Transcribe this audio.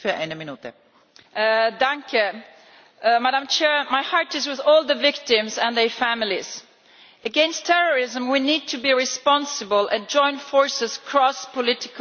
Madam President, my heart is with all the victims and their families. Against terrorism we need to be responsible and join forces across political groups to implement the anti terrorism pact.